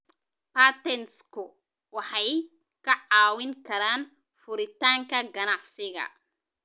Patentsku waxay kaa caawin karaan furitaanka ganacsiga.